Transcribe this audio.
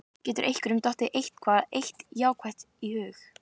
Getur einhverjum dottið eitthvað eitt jákvætt í hug?